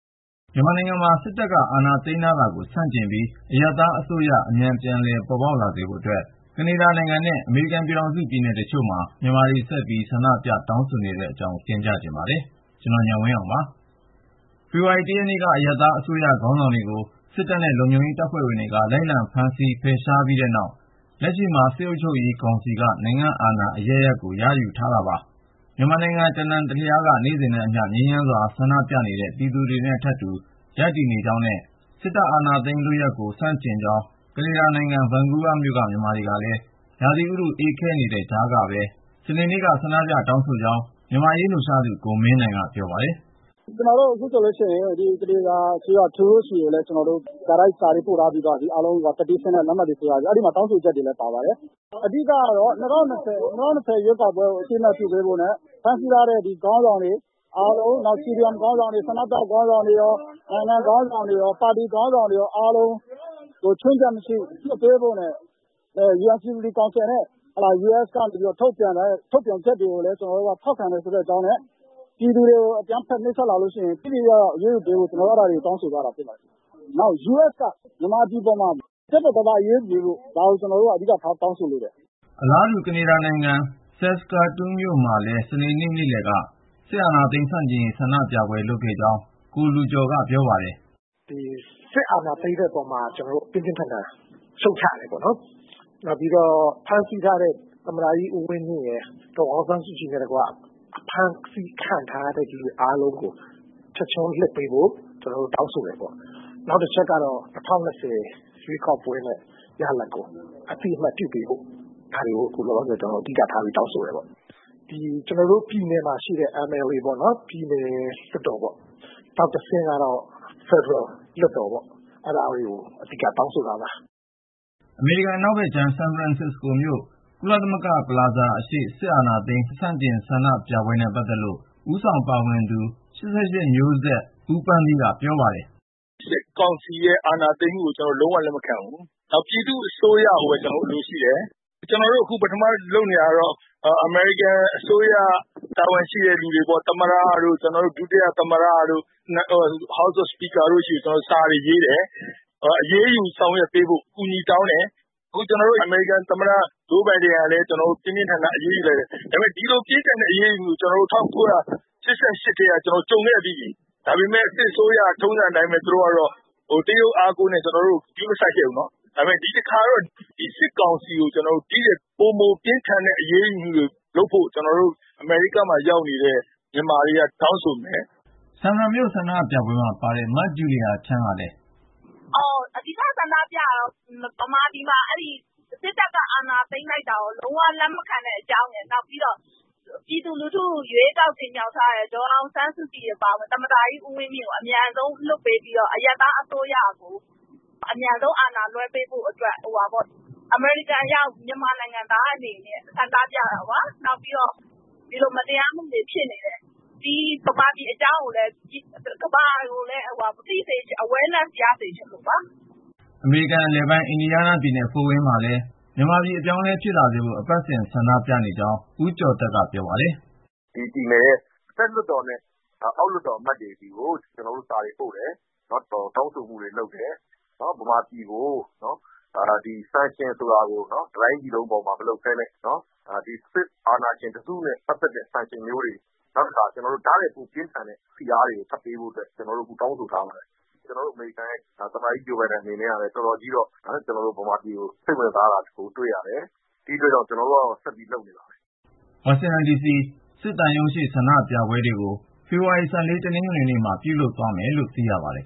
မြန်မာနိုင်ငံမှာ စစ်တပ်က အာဏာသိမ်းထားတာကို ဆန့်ကျင်ပြီး အရပ်သားအစိုးရ အမြန် ပြန်လည်ပေါ်ပေါက်လာစေဖို့အတွက် ကနေဒါနိုင်ငံနဲ့ အမေရိကန်နိုင်ငံက ပြည်နယ်တချို့မှာ မြန်မာတွေ ဆက်ပြီး ဆန္ဒပြ တောင်းဆိုနေတဲ့အကြောင်း ကိုဉာဏ်ဝင်းအောင်က စုစည်းတင်ပြထားပါတယ်။ ဖေဖေါ်ဝါရီ ရက်နေ့မှာ အရပ်သားအစိုးရ ခေါင်းဆောင်တွေကို စစ်တပ်နဲ့ လုံခြုံရေး တပ်ဖွဲ့ဝင်တွေက လိုက်လံဖမ်းဆီး ဖယ်ရှားခဲ့ပြီးနောက် လက်ရှိမှာ စစ်အုပ်ချုပ်ရေးကောင်စီက နိုင်ငံ့အာဏာ အရပ်ရပ်ကို ရယူထားတာပါ။ မြန်မာနိုင်ငံ တနံတလျားမှာ နေ့စဉ်နဲ့အမျှ ငြိမ်းချမ်းစွာဆန္ဒပြနေတဲ့ ပြည်သူတွေနဲ့ထပ်တူ ရပ်တည်နေကြောင်းနဲ့ စစ်တပ် အာဏာသိမ်းလုပ်ရပ်ကို ဆန့်ကျင်ကြောင်း ကနေဒါနိုင်ငံ ဗန်ကူးဗားမြို့က မြန်မာတွေကလည်း ရာသီဥတု အေးခဲနေတဲ့ကြားကပဲ စနေနေ့တုန်းက ဆန္ဒပြတောင်းဆိုခဲ့ကြောင်း မြန်မာ့အရေးလှုပ်ရှားသူ ကိုမင်းနိုင်က ပြောပါတယ်။ " အခုဆိုလို့ရှိရင် ကနေဒါအစိုးရ ခေါင်းဆောင် ထရူးဒိုးဆီကို ကျနော်တို့ စာရေးသားပေးပို့ ထားပြီးပြီ။ အဲဒီမေတ္တာရပ်ခံစာမှာ လက်မှတ်တွေ ဝိုင်းထိုးပြီးတော့ တောင်းဆိုချက်တွေလည်း ပါပါတယ်။ အဓိက ကတော့ ၂၀၂၀ ရွေးကောက်ပွဲကို အသိမှတ်ပြုပေးဖို့နဲ့ ဖမ်းဆီးထားတဲ့ ခေါင်းဆောင်တွေအားလုံး ၊ နောက် CDM ခေါင်းဆောင်တွေ ၊ ဆန္ဒပြ ခေါင်းဆောင်တွေရော နိုင်ငံခေါင်းဆောင်၊ ပါတီခေါင်းဆောင်တွေရော အားလုံးကို ချွင်းချက်မရှိ လွှတ်ပေးဖို့နဲ့ ကုလလုံခြုံရေးကောင်စီနဲ့ အမေရိကန်ကနေ ထုတ်ပြန်ထားတဲ့ ထုတ်ပြန်ချက်တွေကို ကျနော်တို့က ထောက်ခံကြောင်း ၊ ပြည်သူတွေကို အကြမ်းဖက် နှိပ်စက်လာလို့ရှိရင် ထိထိရောက်ရောက် အရေးယူပေးဖို့ ကျနော်တို့ တောင်းဆိုတယ်။ နောက်ပြီး အမေရိကန်ကနေ မြန်မာပြည်ပေါ် ပြတ်ပြတ်သားသား အရေးယူပေးဖို့ ဒါကိုကျနော်တို့ အဓိကထား တောင်းဆိုနေတယ်။ " အလားတူ ကနေဒါနိုင်ငံ Saskatoon မြို့မှာလည်း စနေနေ့ နေ့လည်က စစ်အာဏာသိမ်း ဆန့်ကျင်ဆန္ဒပြပွဲ လုပ်ခဲ့ကြောင်း ကိုလူကျော်က ပြောပါတယ်။ " စစ်အာဏာ သိမ်းတဲ့အပေါ်မှာ ကျနော်တို့ ပြင်းပြင်းထန်ထန် ရှုတ်ချတယ်ပေါ့နော်။ ဖမ်းဆီးထားတဲ့ သမ္မတကြီး ဦးဝင်းမြင့် ဒေါ်အောင်ဆန်းစုကြည်နဲ့တကွ အဖမ်းဆီး ခံထားရသူတွေ အားလုံးကို ချက်ချင်းလွှတ်ပေးဖို့ ကျနော်တို့ တောင်းဆိုတယ်။ နောက်တခုက ၂၀၂၀ ရွေးကောက်ပွဲ ရလဒ်ကို အသိအမှတ်ပြုပေးဖို့ ဒါတွေကို အဓိကထား တောင်းဆိုနေပါတယ်။ ကျနော်တို့နေတဲ့ ပြည်နယ်လွှတ်တော်နဲ့ ဖယ်ဒရယ် လွှတ်တော်တွေကို တောင်းဆိုနေတာပါ။ " အမေရိကန် အနောက်ဖက်ခြမ်း ဆန်ဖရန်စစ္စကိုမြို့ ကုလသမဂ္ဂ-ပလာဇာ အရှေ့ စစ်အာဏာသိမ်း ဆန့်ကျင်ဆန္ဒပြပွဲနဲ့ ပတ်သက်လို့ ဦးဆောင်ပါဝင်နေသူ တဦးဖြစ်တဲ့ ၈၈ မျိုးဆက် ဦးပန်းသီး ဦးထွန်းမြတ်ဦးက ပြောပါတယ်။ " စစ်ကောင်စီရဲ့ အာဏာသိမ်းမှုကို ကျနော်တို့ လုံးဝ လက်မခံဘူး ၊ ပြည်သူ့အစိုးရကိုပဲ ကျနော်တို့ အလိုရှိတယ်။ ကျနော်တို့အခု လုပ်နေတာကတော့ အမေရိကန်အစိုးရ တာဝန်ရှိသူတွေပေါ့ ၊ သမ္မတတို့ ဒုသမ္မတတို့ အောက်လွှတ်တော်ဥက္ကဌတို့ဆီကို ကျနော်တို့ စာတွေရေးကြတယ်။ အရေးယူ ဆောင်ရွက်ပေးဖို့ အကူအညီတောင်းတယ်။ အခုဆိုရင် သမ္မတ ဂျိုးဘိုင်ဒန်ကလည်း အရေးယူဆောင်ရွက်ထားတယ်။ ဒါပေမဲ့ အဲဒီလို အရေးယူပိတ်ဆို့မှုတွေက ၁၉၈၈ တုန်းကလည်း ကျနော်တို့ ကြုံခဲ့ပြီးပြီ။ ဒါပေမဲ့လည်း စစ်အစိုးရကတော့ ထုံးစံအတိုင်း တရုတ်အားကိုးနဲ့ ဒီဒဏ်ခတ်တာကို ဂရုမစိုက်ခဲ့ဘူး။ ဒါပေမယ့် ဒီတခါတော့ ဒီစစ်ကောင်စီကို ဒီထက်ပိုမိုပြင်းထန်တဲ့ အရေးယူမှုတွေ လုပ်ဖို့ အမေရိကားမှာရောက်နေတဲ့ မြန်မာတွေက တောင်းဆိုသွားမယ်။ " ဆန်ဖရန်မြို့က ဆန္ဒပြပွဲမှာ ပါဝင်သူ မဂျူလီယာချမ်းကလည်း သူ့ခံယူချက်ကို ပြောပါတယ်။ " အဓိက ဆန္ဒပြတာကတော့ ဗမာပြည်မှာ စစ်တပ်က အာဏာသိမ်းလိုက်တာကို လုံးဝ လက်မခံအကြောင်းနဲ့ ပြည်သူလူထု ရွေးကောက်တင်မြှောက်ထားတဲ ဒေါ်အောင်ဆန်းစုကြည်အပါအဝင် သမ္မတကြီး ဦးဝင်းမြင့်ကို အမြန်ဆုံး လွှတ်ပေးပြီးတော့ ၊ အရပ်သားအစိုးရကို အမြန်ဆုံး အာဏာလွှဲပေးအတွက် အမေရိကန်ရောက် မြန်မာနိုင်ငံသားတွေ အနေနဲ့ ဆန္ဒပြတာပါ။ နောက်ပြီးတော့ မြန်မာပြည်မှာ ဒီလို မတရားမှုတွေဖြစ်နေတယ်ဆိုတာကို ကမ္ဘာက သိစေချင်လို့ပါ ။ " အမေရိကန်အလယ်ပိုင်း အင်ဒီယားနားပြည်နယ် ဖို့ဝိန်းမြို့မှာလည်း မြန်မာပြည် အပြောင်းအလဲ ပြန်ဖြစ်လာဖို့ အပတ်စဉ် ဆန္ဒပြနေကြတဲ့အကြောင်း ဦးကျော်သက်က ပြောပါတယ်။ " အင်ဒီယားနားပြည်နယ်ရဲ့ အထက်လွှတ်တော်နဲ့ အောက်လွှတ်တော် အမတ်တွေဆီကို ကျနော်တို့ စာတွေပို့တယ်။ တောင်းဆိုမှု လုပ်တယ်။ မြန်မာပြည်ကို ပိတ်ဆို့ဒဏ်ခတ်တဲ့အခါ sanction ဆိုတာကို တတိုင်းပြည်လုံး အတိုင်းတာနဲ့ မလုပ်ပဲနဲ့ ဒီစစ်အာဏာရှင်တစုနဲ့ ပတ်သက်တဲ့ အရေးယူပိတ်ဆို့မှုမျိုးတွေ ၊ ဒါထက်ပိုပြင်းထန်တဲ့ ဖိအားပေးတွေ ပေးဖို့ ကျနော်တို့ တောင်းဆိုထားပါတယ်။ ကျနော်တို့ အမေရိကန်ရဲ့ သမ္မတကြီး ဂျိုးဘိုင်ဒန်ကလည်း မြန်မာပြည်အရေးကို အတော်ကြီးစိတ်ဝင်စားတာတွေ့ရတယ်။ ဒီအတွက် ကျနော်တို့ကတော့ ဆက်လုပ်နေမှာပါပဲ။ " ဝါရှင်တန်ဒီစီ စစ်သံရုံးရှေ့ ဆန္ဒပြပွဲ တွေကို ဖေဖေါ်ဝါရီ တနင်္ဂနွေနေ့မှာ ပြုလုပ်သွား မယ်လို့ သိရပါတယ်